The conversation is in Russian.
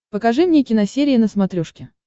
покажи мне киносерия на смотрешке